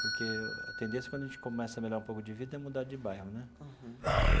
Porque a tendência quando a gente começa a melhorar um pouco de vida é mudar de bairro, né? Uhum.